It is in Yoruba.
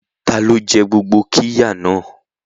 Ta ló jẹ gbogbo qirya náà?